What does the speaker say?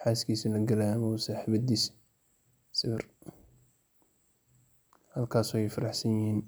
xaskisa lagalayo amba saxibidisa sawar halkaas ay farax siyin.